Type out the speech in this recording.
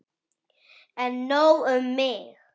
En nóg um mig.